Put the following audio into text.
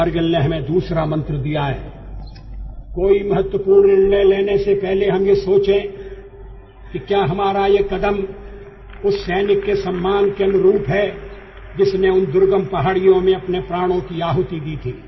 कारगिल ने हमें दूसरा मंत्र दिया है कोई महत्वपूर्ण निर्णय लेने से पहले हम ये सोचें कि क्या हमारा ये कदम उस सैनिक के सम्मान के अनुरूप है जिसने उन दुर्गम पहाड़ियों में अपने प्राणों की आहुति दी थी